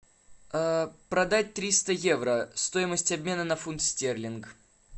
продать триста евро стоимость обмена на фунт стерлинг